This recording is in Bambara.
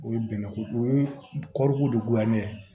O ye bɛnɛ ko o ye kɔrikodonya ye